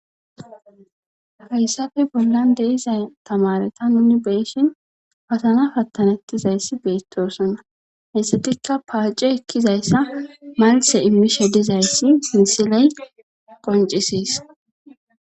Hayssafee bollan deyiza tamareta nuni beeshin patana pattanettizayssi beettosonna hessatikka paace ekkizayssa malthe immishe dizayssi misiley qoncisis